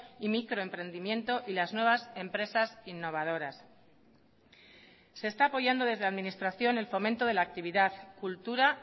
y microemprendimiento y las nuevas empresas innovadoras se está apoyando desde administración el fomento de la actividad cultura